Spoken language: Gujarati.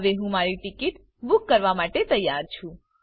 હવે હું મારી ટીકીટ બૂક કરવા માટે તૈયાર છું